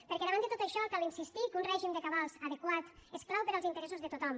perquè davant de tot això cal insistir que un règim de cabals adequat és clau per als interessos de tothom